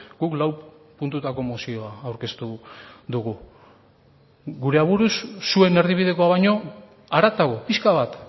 guk lau puntutako mozioa aurkeztu dugu gure aburuz zuen erdibidekoa baino haratago pixka bat